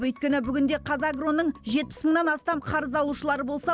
өйткені бүгінде қазагро ның жетпіс мыңнан астам қарыз алушылары болса